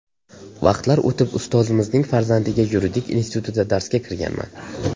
Vaqtlar o‘tib ustozimizning farzandiga Yuridik institutida darsga kirganman.